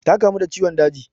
Ta kamu da ciwon daji.